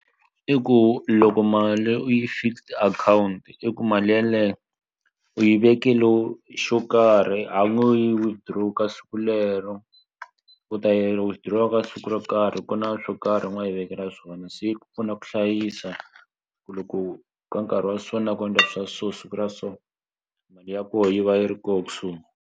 I ku loko mali u yi fixed account i ku mali yeleye u yi xo karhi a wu yi withdraw ka siku lero u ta yi withdraw-a ka siku ro karhi ku na swo karhi u nga yi vekela swona se yi ku pfuna ku hlayisa ku loko ka nkarhi wa so na ku endla swa so siku ra so ya ko yi va yi ri ko kusuhi.